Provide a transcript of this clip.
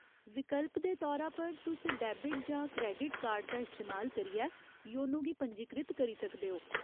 विकल्प दे तौरा पर, तुस डेबिट जां क्रेडिट कार्ड दा इस्तेमाल करियै योनो गी पंजीकृत करी सकदे ओ।